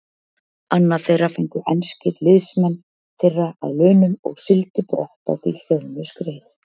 Annað þeirra fengu enskir liðsmenn þeirra að launum og sigldu brott á því hlöðnu skreið.